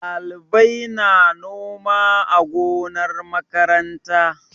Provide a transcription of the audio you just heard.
Ɗalibai na noma a gonar makaranta.